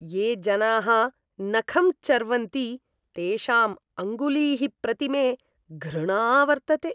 ये जनाः नखं चर्वन्ति तेषां अङ्गुलीः प्रति मे घृणा वर्तते।